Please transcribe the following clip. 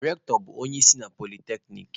Rectọ bụ onye isi na polyteknic